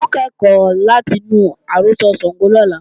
A ó kẹ́kọ̀ọ́ láti inú àrọ́sọ Ṣàngó làárọ̀